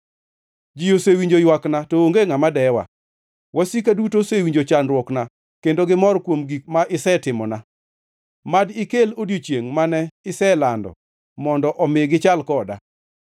Ji osewinjo ywakna, to onge ngʼama dewa. Wasika duto osewinjo chandruokna; kendo gimor kuom gik ma isetimona. Mad ikel odiechiengʼ mane iselando mondo omi gichal koda.